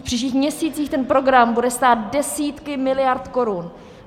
V příštích měsících ten program bude stát desítky miliard korun.